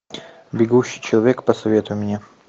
бегущий человек посоветуй мне